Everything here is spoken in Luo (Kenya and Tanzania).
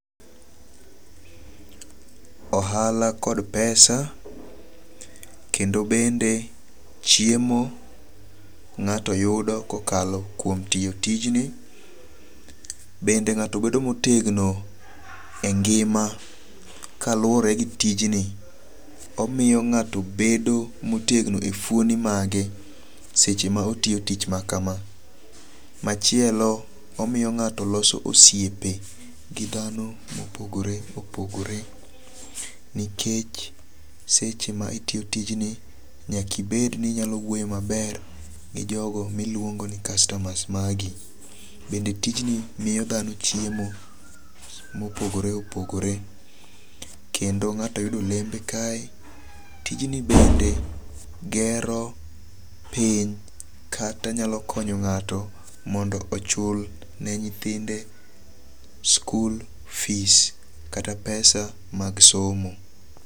Ohala kod pesa, kendo bende chiemo ng'ato yudo kokalo kwo tio tijni. Bende ng'ato bedo motegno e ngima kaluwore gi tijni. Omio ng'ato bedo motegno e fwoni mage seche ma otio tich makama. Machielo, omio ng'ato loso osiepe gi dhano mopogore opogore nikech seche ma itio tijni, nyaka ibedni inyalo wuoyo maber gi jogo milwuongo ni customers magi. Bende tijni mio dhano chiemo mopogore opogore, kendo ng'ato yudo olembe kae. Tijni bende gero piny kata nyalo konyo ng'ato mondo ochul ne nyithinde skul fees kata pesa mag somo.